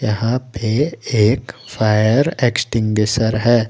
यहां पे एक फायर एक्स्टिंगसर है।